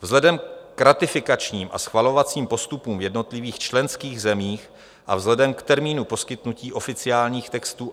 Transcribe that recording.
Vzhledem k ratifikačním a schvalovacím postupům v jednotlivých členských zemích a vzhledem k termínu poskytnutí oficiálních textů